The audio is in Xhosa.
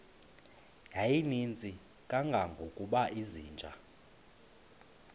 yayininzi kangangokuba izinja